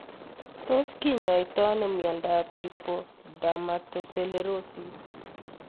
Tos kinyoitoi ano miondop Lipodermatosclerosis